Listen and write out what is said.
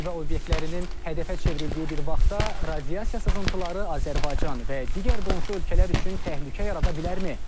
Nüvə obyektlərinin hədəfə çevrildiyi bir vaxtda radiasiya sızıntıları Azərbaycan və digər qonşu ölkələr üçün təhlükə yarada bilərmi?